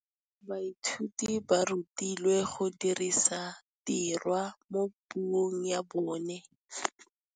Baithuti ba rutilwe go dirisa tirwa mo puong ya bone.